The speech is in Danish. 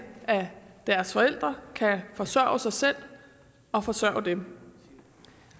at deres forældre kan forsørge sig selv og forsørge dem